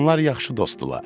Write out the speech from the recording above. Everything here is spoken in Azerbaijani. Onlar yaxşı dostdular.